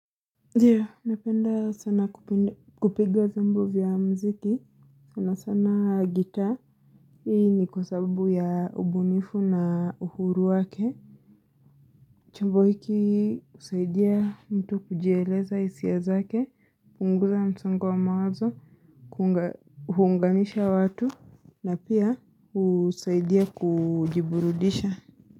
Napenda sana kupiga vyombo vya mziki, sana sana gita. Hii ni kwa sababu ya ubunifu na uhuru wake. Chombo hiki husaidia mtu kujieleza hisia zake, hupunguza msongo wa mawazo, huunganisha watu, na pia husaidia kujiburudisha.